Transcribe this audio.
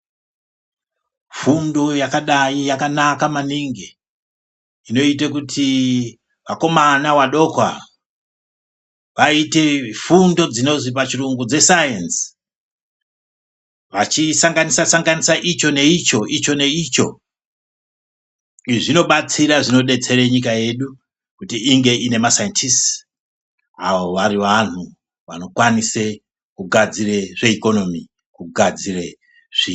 Fundo yakadai yakanaka maningi inoite kuti vakomana vadoko ava vaite fundo dzesayenzi vachisanganisasanganisa icho neicho ,icho neicho izvi zvinobatsira zvinodetsera nyika yedu kuti inge inemasayendisti avo varivanhu vanokwanise kugadzire zveikonomi kugadzire nyika yavo.